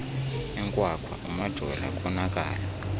inkwakhwa umajola konakala